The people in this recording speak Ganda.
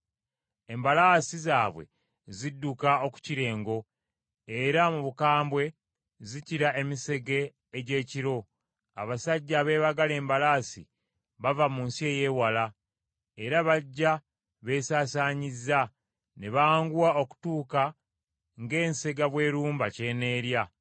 Embalaasi zaabwe zidduka okukira engo, era mu bukambwe zikira emisege egy’ekiro. Abasajja abeebagala embalaasi bava mu nsi ey’ewala era bajja beesaasaanyizza ne banguwa okutuuka ng’ensega bw’erumba ky’eneerya.